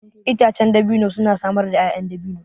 Itacen dabino suna samar da 'ya'yan dabino.